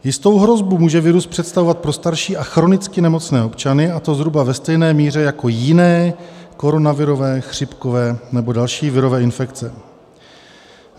- Jistou hrozbu může virus představovat pro starší a chronicky nemocné občany, a to zhruba ve stejné míře jako jiné koronavirové chřipkové nebo další virové infekce.